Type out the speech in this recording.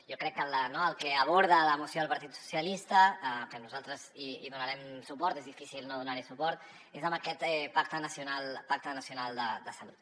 jo crec que el que aborda la moció del partit socialistes que nosaltres hi donarem suport és difícil no donar hi suport és en aquest pacte nacional de salut